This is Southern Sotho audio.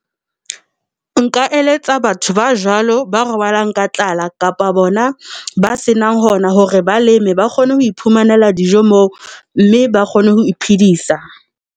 Nka eletsa batho ba jwalo ba robalang ka tlala kapa bona ba senang hona hore ba leme, ba kgone ho iphumanela dijo moo mme ba kgone ho iphedisa.